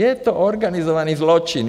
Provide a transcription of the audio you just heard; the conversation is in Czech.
Je to organizovaný zločin.